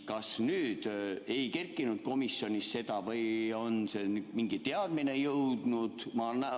Kas nüüd ei kerkinud komisjonis seda teemat või on meieni mingi teadmine jõudnud?